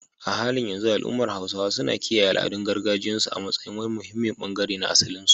A halin yanzu al’ummar Hausawa suna kiyaye al’adun gargajiyarsu a matsayin wani muhimmin bangare na asalinsu.